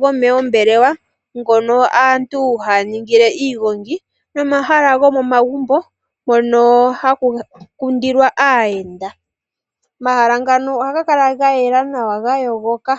gomeembelewa ngono aantu haya ningile iigogi nomahala gomomagumbo mono haga kundilwa aayenda. Mala ngano ohaga kala ga yela nawa ga yogoka.